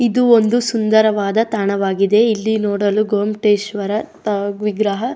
ಇದು ಒಂದು ಸುಂದರವಾದ ತಾಣವಾಗಿದೆ ಇಲ್ಲಿ ನೋಡಲು ಗೋಮ್ಟೇಶ್ವರ ವಿಗ್ರಹ.